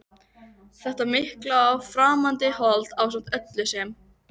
Þetta mikla og framandi hold ásamt öllu sem